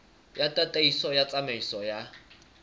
ya tataiso ya tsamaiso ya